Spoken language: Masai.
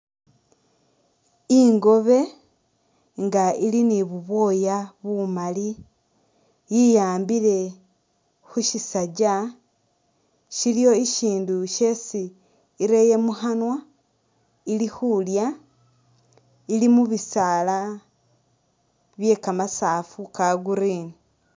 Ingobe nga ili ni bubwooya bumali iyambile khusisajja shiliyo shishindu shesi Ireye mukhanwa ili khulya ,ili mu bisaala bye kamasafu ka green